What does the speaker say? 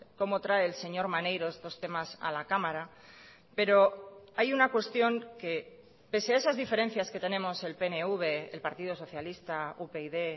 como trae el señor maneiro estos temas a la cámara pero hay una cuestión que pese a esas diferencias que tenemos el pnv el partido socialista upyd